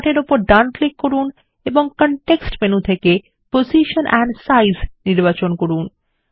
এখন চার্ট এর উপর ডান ক্লিক করুন এবং কনটেক্সট মেনু থেকে পজিশন এন্ড সাইজ নির্বাচন করুন